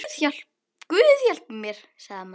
Guð hjálpi mér, sagði amma.